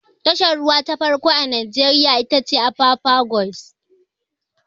Tashar ruwa ta farko a najeriya ita ce apapa quays